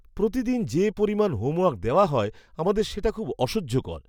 প্রতিদিন যে পরিমাণ হোমওয়ার্ক দেওয়া হয় আমাদের সেটা খুব অসহ্যকর!